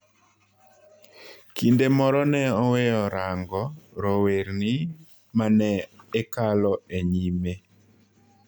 Kinde moro ne oweyo raango rowerni manekalo e nyime